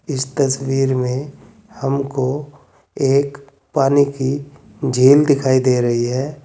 इस तस्वीर में हमको एक पानी की झील दिखाई दे रही है।